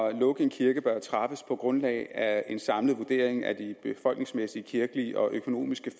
at lukke en kirke bør træffes på grundlag af en samlet vurdering af de befolkningsmæssige kirkelige og økonomiske